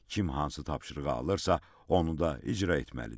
Kim hansı tapşırığı alırsa, onu da icra etməlidir.